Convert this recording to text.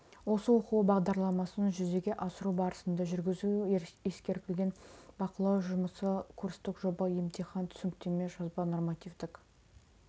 осы оқу бағдарламасын жүзеге асыру барысында жүргізу ескерілген бақылау жұмысы курстық жоба емтихан түсініктеме жазба нормативтік